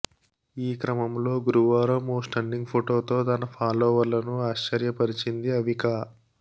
ఈక్రమంలో గురువారం ఓ స్టన్నింగ్ ఫొటోతో తన ఫాలోవర్లను ఆశ్చర్యపరిచింది అవికా